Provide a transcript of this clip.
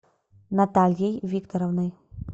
натальей викторовной